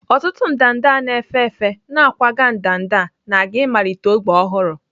Ọtụtụ ndanda na-efe efe na-akwaga ndanda na-aga ịmalite ógbè ọhụrụ.